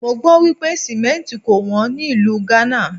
Mọ gbọ́ wípé Símẹ́ǹtì kò wón ní ìlú Ghana.